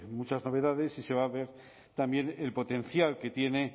muchas novedades y se va a ver también el potencial que tiene